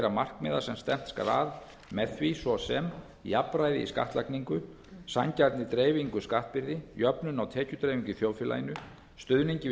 markmiða sem stefnt skal að með því svo sem jafnræði í skattlagningu sanngjarni dreifingu skattbyrði jöfnun á tekjudreifingu í þjóðfélaginu stuðningi við